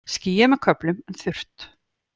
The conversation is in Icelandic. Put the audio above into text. Skýjað með köflum en þurrt